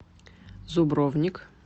зубровник